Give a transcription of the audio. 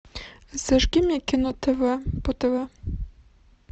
зажги мне кино тв по тв